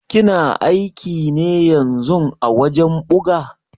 Kina aiki ne ƴanzun a wajen ɓuga?